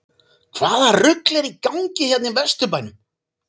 HVAÐA RUGL ER Í GANGI HÉRNA Í VESTURBÆNUM???